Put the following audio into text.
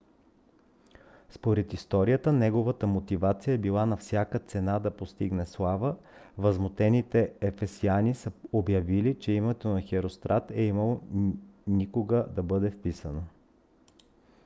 според историята неговата мотивация е била на всяка цена да постигне слава. възмутените ефесяни са обявили че името на херострат е нямало никога да бъде вписано